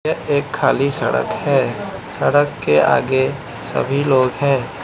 एक खाली सड़क है सड़क के आगे सभी लोग है।